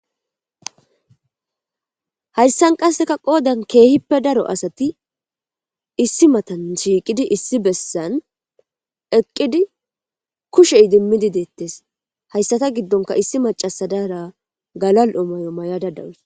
Hayssan qasseka qoodan keehippe daro asati issi matan shiiqidi issi bessan eqqidi kushey dimmidi deettes hayssata giddonka issi macasadara galal7omayo may'a dadawus.